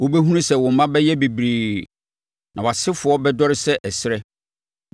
Wobɛhunu sɛ wo mma bɛyɛ bebree; na wʼasefoɔ bɛdɔre sɛ ɛserɛ.